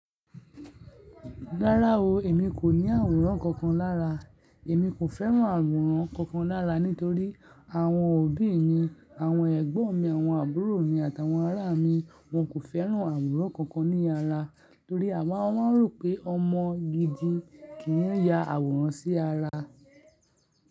Rárá o, èmi kò ní àwòrán kankan lára. Èmi kò fẹ́ràn àwòrán kankan lára nítorí àwọn òbí mi, àwọn ẹ̀gbọ́n mi, àwọn àbúrò mi àtàwọn ará mi, wọn kò fẹ́ràn àwòrán kankan ní ara torí àwọn rò pé ọmọ gidi kì í ya àwòrán sí ara.